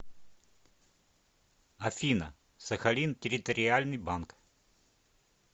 афина сахалин территориальный банк